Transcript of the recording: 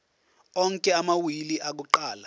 onke amawili akuqala